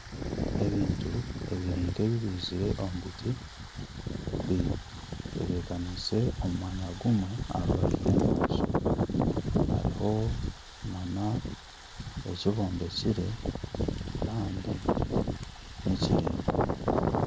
Ebintu ebiri nka ebibizirwe omu biti biteebekanise omu mwanya gumwe aha rubaju rw'enyanja hariho nana eki bombekire kandi nikiraingwa.